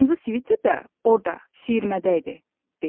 Qırmızı sviter də orda, siyirmədə idi dedi.